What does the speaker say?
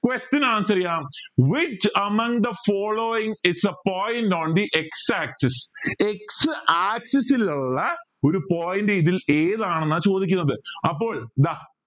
question answer ചെയ്യാം which among the following is a point on the x axis x axis ൽ ഉള്ള ഒരു point ഇതിൽ ഏതാണെന്ന ചോദിക്കുന്നത് അപ്പോൾ ദാ